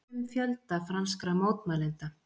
Deilt um fjölda franskra mótmælenda